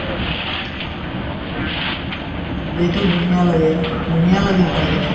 যিহেতু ধুনীয়া লাগে ধুনীয়া লাগে চাই কিনে